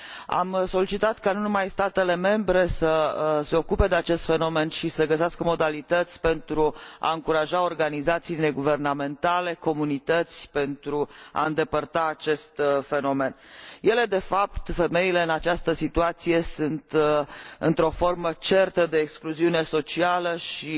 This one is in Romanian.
Am solicitat ca nu numai statele membre să se ocupe de acest fenomen și să găsească modalități pentru a încuraja organizațiile neguvernamentale și comunitățile să îndepărteze acest fenomen. De fapt, femeile în această situație sunt într o formă certă de excluziune socială